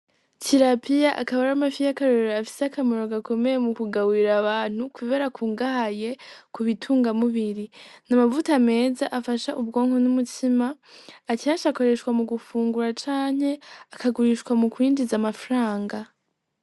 Tirapiya akaba aramafi yakarorero afise akamaro gakomeye mukugaburira abantu kubera akungahaye kubitunga mubiri, n'amavuta meza afasha ubwonko n'umutima akenshi akoreshwa mugufungura canke akagurishwa mukwinjiza amafranga.